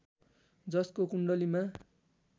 जसको कुण्डलीमा